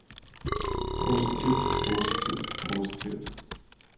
positivt positivt positivt